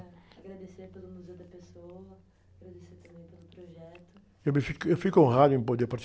Agradecer pelo, agradecer também pelo projeto.u me, eu fico honrado em poder